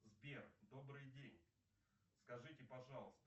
сбер добрый день скажите пожалуйста